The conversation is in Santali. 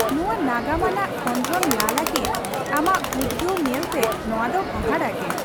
ᱱᱚᱶᱟ ᱱᱟᱜᱟᱢ ᱟᱱᱟᱜ ᱠᱷᱚᱸᱫᱨᱚᱱ ᱞᱟ ᱞᱟᱹᱜᱤᱫ ᱟᱢᱟᱜ ᱩᱫᱜᱟᱹᱣ ᱧᱮᱞᱛᱮ ᱱᱚᱣᱟ ᱫᱚ ᱦᱟᱦᱟᱲᱟ ᱜᱮ !